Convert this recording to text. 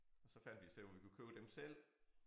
Og så fandt vi et sted hvor vi kunne købe dem selv